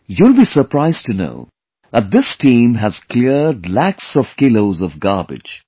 You will be surprised to know that this team has cleared lakhs of kilos of garbage